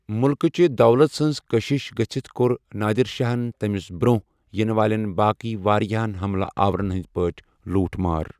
مُلکہٕ چہِ دولژ ہنز كشِش گژھِتھ كوٚر نٲدِر شاہن تمِس برونٛہہ ینہٕ والین باقی وارِیاہن حملہٕ آورن ہندِ پٲٹھی لوٗٹھ مار ۔